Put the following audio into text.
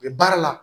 U bɛ baara la